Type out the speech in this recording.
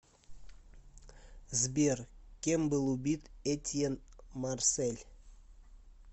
сбер кем был убит этьен марсель